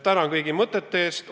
Tänan kõigi mõtete eest!